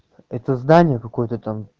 это здание какой-то там